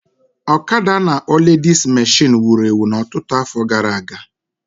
ọkada a na-akpọ ledis meshịn wuru ewu na ọtụtụ afọ gara aga